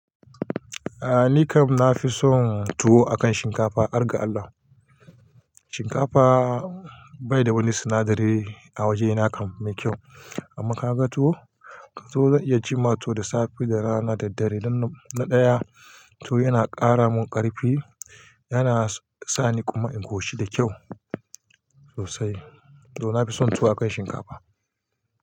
Aaa, ni kam na fi son tuwo akan shinkafa, har ga Allah. Shinkafa bai da wani sinadari a waje na kam mai kyau. Amma ka ga tuwo, ka tuwo zan iya ci tuwo da safe, da rana, da dare. Na ɗaya tuwo yana ƙara mun ƙarfi, yana sani kuma in koshi da kyau sosai. To na fi son tuwo akan shinkafa.